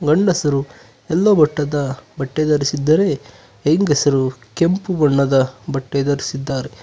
ಗಂಡಸರು ಯಲ್ಲೋ ಬಟ್ಟದ ಬಟ್ಟೆ ಧರಿಸಿದ್ದಾರೆ ಹೆಂಗಸರು ಕೆಂಪು ಬಣ್ಣದ ಬಟ್ಟೆ ಧರಿಸಿದ್ದಾರೆ.